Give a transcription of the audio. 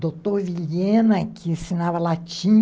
doutor Vilhena, que ensinava latim.